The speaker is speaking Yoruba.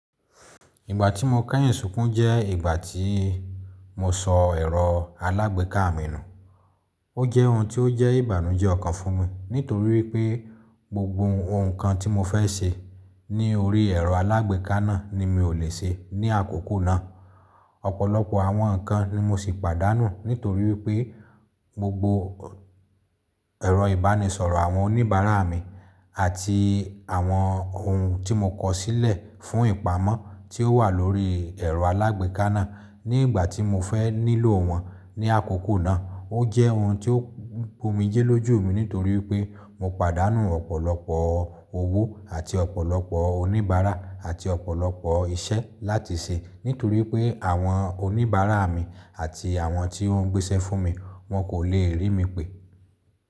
Ìgbà tí mo kẹ́yìn sùnkún jẹ́ ìgbà tí mo sọ ẹ̀rọ alágbèéká mi nù. O jẹ́ ohun tí ó jẹ́ ìbànújẹ́ ọkàn fún mi nítorí pé gbogbo nǹkan tí mo fẹ́ ṣe ní orí ẹ̀rọ alágbèéká náà ni mi ò le ṣe ní àkókò náà. Ọ̀pọ̀lọpọ̀ àwọn nǹkan ni mo sì pàdánù nítorí pé gbogbo ẹ̀rọ ìbánisọ̀rọ̀ àwọn oníbàárà mi àti àwọn ohun tí mo kọ̀sílẹ̀ fún ìpamọ́ tí ó wà lórí ẹ̀rọ alágbèéká náà ní ìgbà tí mo fẹ́ nílò wọ́n ní àkókò náà. O jẹ́ ohun tí ó bu omijẹ́ lójú mi nítorí pé mo pàdánù ọ̀pọ̀lọpọ̀ owó àti ọ̀pọ̀lọpọ̀ oníbàárà àti ọ̀pọ̀lọpọ̀ iṣẹ́ láti ṣe nítorí pé àwọn oníbàárà mi àti àwọn tí wọ́n ń gbéṣẹ́ fún mi wọn kò le rí mi pè.